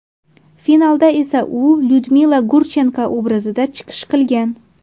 Finalda esa u Lyudmila Gurchenko obrazida chiqish qilgan.